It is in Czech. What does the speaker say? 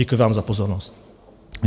Děkuji vám za pozornost.